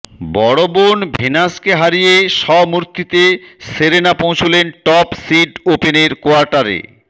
বড় বোন ভেনাসকে হারিয়ে স্বমূর্তিতে সেরেনা পৌঁছলেন টপ সিড ওপেনের কোয়ার্টারে